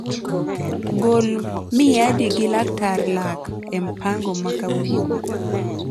gol miadi gi laktar lak e mpango ma kauono